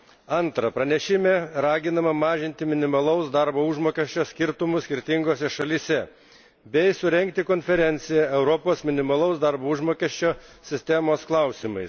Antra, pranešime raginama mažinti minimalaus darbo užmokesčio skirtumus skirtingose šalyse bei surengti konferenciją Europos minimalaus darbo užmokesčio sistemos klausimais.